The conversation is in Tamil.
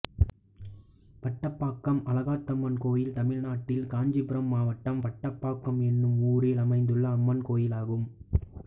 வட்டம்பாக்கம் அழகாத்தம்மன் கோயில் தமிழ்நாட்டில் காஞ்சிபுரம் மாவட்டம் வட்டம்பாக்கம் என்னும் ஊரில் அமைந்துள்ள அம்மன் கோயிலாகும்